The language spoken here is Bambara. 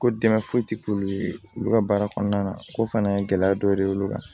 Ko dɛmɛ foyi ti k'ulu ye olu ka baara kɔnɔna na ko fana ye gɛlɛya dɔ de ye olu kan